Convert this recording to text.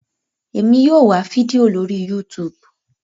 Èmi yóò wá fídíò lórí youtube